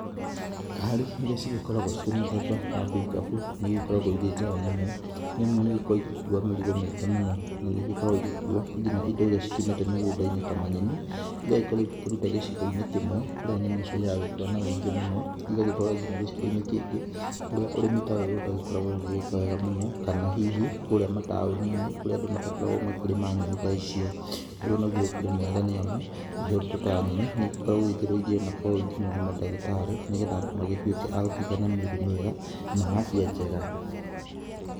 Ngari irĩa cigĩkoragwo cirĩ mũthemba wa bikabu nĩigĩkoragwo cirĩ njega mũno, nĩamu nĩigĩkoragwo igĩkuwa mĩrigo mĩingĩ na nĩigĩkoragwo ĩgĩkuwo nginya indo cikĩũmĩte mĩgũndainĩ ta manyeni iria igĩkorwo ikĩrutwo gĩcigoinĩ kĩmwe kũrĩa nyeni icio iragĩkũra na ũingĩ mũno, igagĩtwarwa nginya gĩcigoinĩ kĩngĩ kũrĩa ũrĩmi ta ũyũ ũtagĩkoragwo ũgĩka wega mũno kana hihi kũrĩa mataũninĩ kũrĩa matakoragwa makĩrĩma nyeni ta icio, ũndũ ũyũ ũkĩrĩmwega nĩamu indo ta nyeni nĩikoragwo na ũteithio mũno kwĩ madagĩtarĩ nĩgetha magĩkorwe magũtuĩka na mĩrĩ mĩega na afya njega.